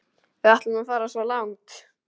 Við ætlum að fara svo langt.